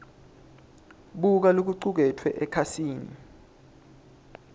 buka lokucuketfwe ekhasini